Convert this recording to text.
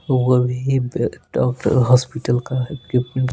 वो भी doctor hospital का इक्विमेंट --